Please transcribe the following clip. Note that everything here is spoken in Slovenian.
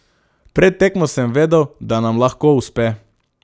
Pred tekmo sem vedel, da nam lahko uspe.